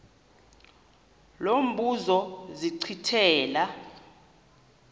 lo mbuzo zachithela